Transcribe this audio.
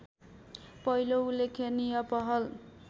पहिलो उल्लेखनीय पहल